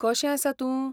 कशें आसा तूं?